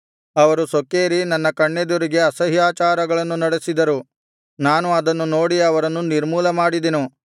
ಅವರು ಸೊಕ್ಕೇರಿ ನನ್ನ ಕಣ್ಣೆದುರಿಗೆ ಅಸಹ್ಯಾಚಾರಗಳನ್ನು ನಡೆಸಿದರು ನಾನು ಅದನ್ನು ನೋಡಿ ಅವರನ್ನು ನಿರ್ಮೂಲ ಮಾಡಿದೆನು